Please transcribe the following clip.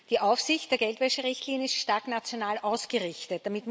Die Aufsicht der Geldwäscherichtlinie ist stark national ausgerichtet.